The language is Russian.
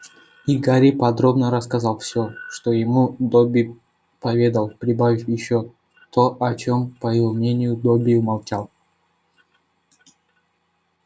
и гарри подробно рассказал все что ему добби поведал прибавив ещё и то о чём по его мнению добби умолчал